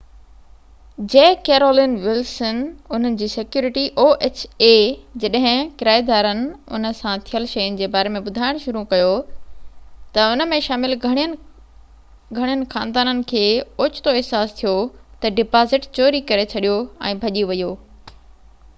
جڏهن ڪرائيدارن ان سان ٿيل شين جي باري ۾ ٻڌائڻ شروع ڪيو تہ ان ۾ شامل گهڻين خاندانن کي اوچتو احساس ٿيو تہ oha جي ڪيرولن ولسن انهن جي سيڪيورٽي ڊبازٽ چوري ڪري ڇڏيو ۽ ڀڄي ويو